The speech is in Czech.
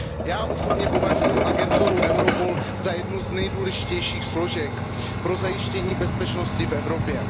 Já osobně považuju agenturu Europol za jednu z nejdůležitějších složek pro zajištění bezpečnosti v Evropě.